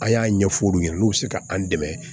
An y'a ɲɛfɔ olu ɲɛna n'u be se ka an dɛmɛ